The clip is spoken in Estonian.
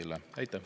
Aitäh!